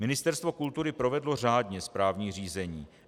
Ministerstvo kultury provedlo řádně správní řízení.